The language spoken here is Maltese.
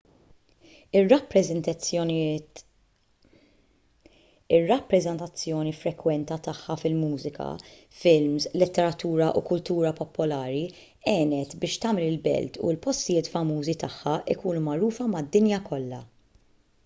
ir-rappreżentazzjoni frekwenti tagħha fil-mużika films letteratura u kultura popolari għenet biex tagħmel il-belt u l-postijiet famużi tagħha jkunu magħrufa mad-dinja kollha